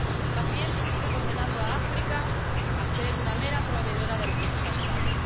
más bien se sigue condenando a África a ser una mera proveedora de recursos naturales.